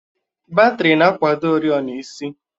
Batrị na-akwado oriọna isi